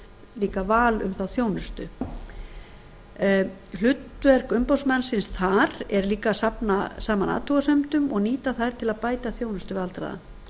líka val um þá þjónustu hlutverk umboðsmannsins þar er líka að safna saman athugasemdum og nýta þær til að bæta þjónustu við aldraða